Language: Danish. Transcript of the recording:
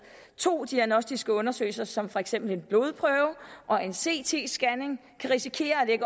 to diagnostiske undersøgelser som for eksempel en blodprøve og en ct scanning kan risikere at